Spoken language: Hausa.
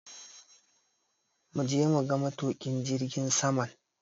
Muje muga matuƙin jirgin saman!